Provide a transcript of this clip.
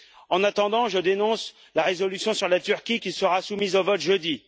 En attendant, je dénonce la résolution sur la Turquie qui sera soumise au vote jeudi.